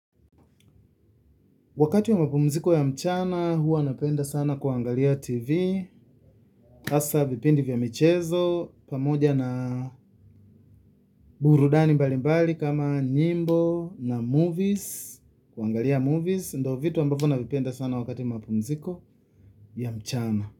Wakati wa mapumziko ya mchana, huwa napenda sana kuangalia tv, hasa vipindi vya michezo, pamoja na burudani mbalimbali kama nyimbo na movies, kuangalia movies, ndiyo vitu ambavyo navupenda sana wakati mapumziko ya mchana.